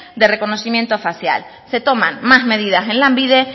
de reconocimiento facial se toman más medidas en lanbide